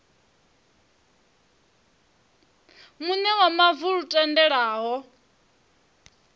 muṋe wa mavu lu tendelaho